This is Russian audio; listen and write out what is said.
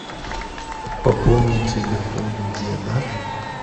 пополни телефон деда